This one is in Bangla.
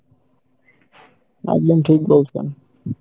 একদম ঠিক বলসেন।